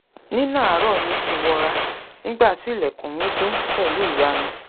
nínà àárọ̀ mi ti wọra nígbà tí ilẹ̀kùn mí dún pẹ̀lú ìyanu